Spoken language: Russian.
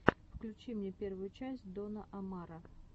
включи мне первую часть дона омара